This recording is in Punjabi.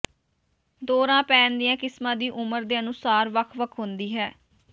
ਦੌਰਾ ਪੈਣ ਦੀਆਂ ਕਿਸਮਾਂ ਦੀ ਉਮਰ ਦੇ ਅਨੁਸਾਰ ਵੱਖ ਵੱਖ ਹੁੰਦੀ ਹੈ